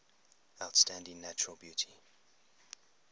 outstanding natural beauty